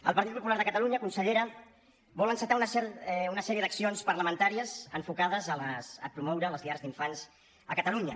el partit popular de catalunya consellera vol encetar una sèrie d’accions parlamentàries enfocades a promoure les llars d’infants a catalunya